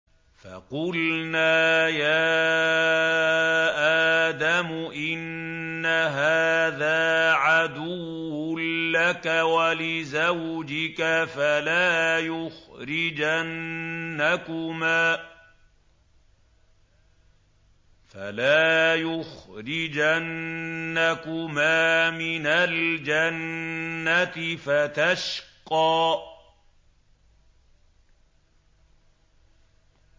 فَقُلْنَا يَا آدَمُ إِنَّ هَٰذَا عَدُوٌّ لَّكَ وَلِزَوْجِكَ فَلَا يُخْرِجَنَّكُمَا مِنَ الْجَنَّةِ فَتَشْقَىٰ